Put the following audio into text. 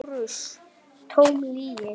LÁRUS: Tóm lygi!